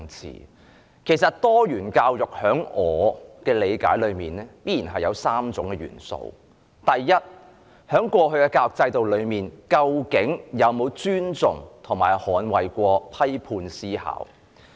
以我理解，多元教育一直包括3種元素：第一，過去的教育制度究竟有否尊重及捍衞批判思考？